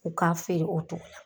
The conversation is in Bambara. U k'a feere o togo la